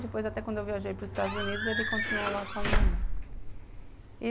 Depois, até quando eu viajei para os Estados Unidos, ele continuou lá com a minha mãe.